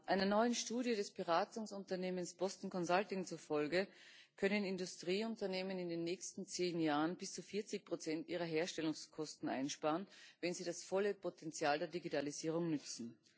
Einer neuen Studie des Beratungsunternehmens Boston Consulting zufolge können Industrieunternehmen in den nächsten zehn Jahren bis zu 40 ihrer Herstellungskosten einsparen, wenn sie das volle Potenzial der Digitalisierung nutzen.